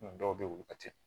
dɔw bɛ yen olu ka teli